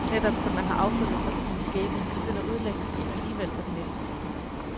Netop, som man har affundet sig med sin skæbne, begynder udlængslen alligevel at melde sig.